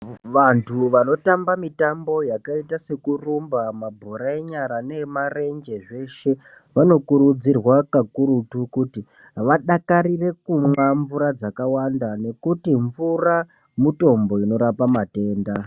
Vantu vanotamba mitambo yakaita seku rumba mabhora enyara nee marenje zveshe vano kurudzirwa kakurutu kuti vadakarire kunwa mvura dzaka wanda nekuti mvura mutombo inorapa matenda.